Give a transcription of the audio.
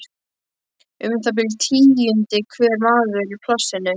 Um það bil tíundi hver maður í plássinu.